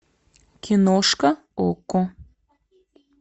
киношка окко